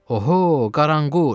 Oho, qaranquş.